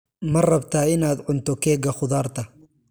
Ma rabtaa inaad cunto keega khudaarta?